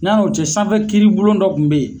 N'a'o tiɲɛn sanfɛ kiribulon dɔ kun bɛ yen.